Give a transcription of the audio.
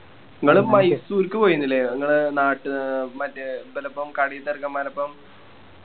ഇങ്ങള് മൈസൂർക്ക് പോയിന്നില്ലേ ഇങ്ങളെ നാട്ട് മറ്റേ ഇവലോപ്പം കളിത്തെ ചേർക്കൻമ്മാരോപ്പം